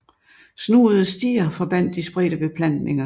Snoede stier forbandt de spredte beplantninger